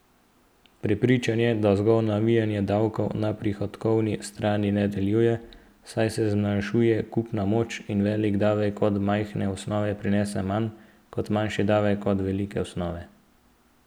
Prepričan je, da zgolj navijanje davkov na prihodkovni strani, ne deluje, saj se zmanjšuje kupna moč in velik davek od majhne osnove prinese manj, kot manjši davek od velike osnove.